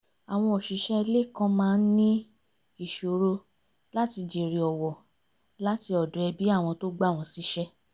àwọn òṣìṣẹ́ ilé kan maá ń ní ìṣoro láti jèrè ọ̀wọ̀ láti ọ̀dọ̀ ẹbí àwọn tó gbà wọ́n síṣẹ́